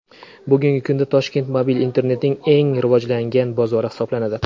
Bugungi kunda Toshkent mobil internetning eng rivojlanayotgan bozori hisoblanadi.